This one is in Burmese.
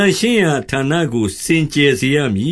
န့်ရှင်းရာဌာနကို စင်ကြယ်စေရမည